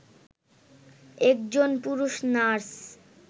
একজন পুরুষ নার্স